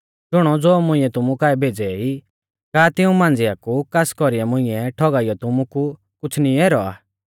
शुणौ ज़ो मुंइऐ तुमु काऐ भेज़ै ई का तिऊं मांझ़िया कु कास कौरीऐ मुंइऐ ठौगाइयौ तुमु कु कुछ़ नी ऐरौ आ